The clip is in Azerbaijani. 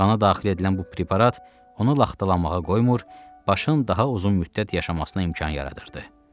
Qana daxil edilən bu preparat onu laxtalamağa qoymur, başın daha uzun müddət yaşamasına imkan yaradırdı.